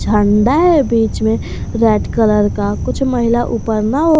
झंडा है बीच में रेड कलर का कुछ महिला ऊपर नाव --